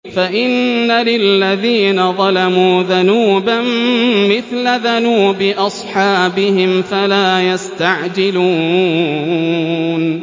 فَإِنَّ لِلَّذِينَ ظَلَمُوا ذَنُوبًا مِّثْلَ ذَنُوبِ أَصْحَابِهِمْ فَلَا يَسْتَعْجِلُونِ